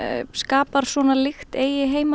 skapar svona lykt eigi heima